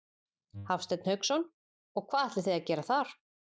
Hafsteinn Hauksson: Og hvað ætlið þið að gera þar?